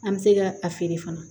An bɛ se ka a feere fana